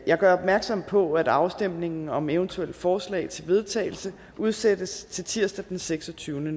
jeg gør opmærksom på at afstemningen om eventuelle forslag til vedtagelse udsættes til tirsdag den seksogtyvende